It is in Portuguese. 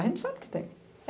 A gente sabe que tem.